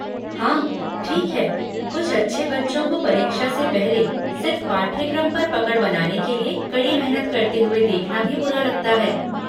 हाँ, ठीक है, कुछ अच्छे बच्चों को परीक्षा से पहले सिर्फ़ पाठ्यक्रम पर पकड़ बनाने के लिए कड़ी मेहनत करते हुए देखना भी बुरा लगता है।